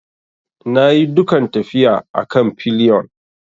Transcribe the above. Na yi dukan tafiya a kan pillion.